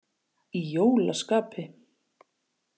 Í jólaskapi.